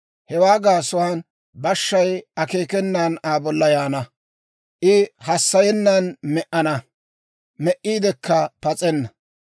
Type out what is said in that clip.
Hewaa gaasuwaan bashshay akeekenan Aa bolla yaana; I hassayennan me"ana; me"iidekka pas'enna.